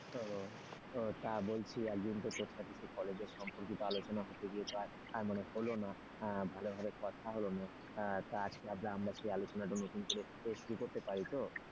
তা বলছি একদিন তো তোর সাথে কলেজে সম্পর্কিত আলোচনা হতে গিয়ে আর তো মানে হলো না ভালো ভাবে কথা হলো না তা আজকে আমরা কি আলোচনা নতুন করে শুরু করতে পারি তো?